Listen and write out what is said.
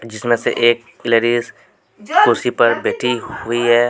जिसमें से एक लेडीज कुर्सी पर बेटी हुई है।